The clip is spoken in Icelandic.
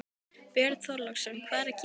Björn Þorláksson: Hvað er að gerast?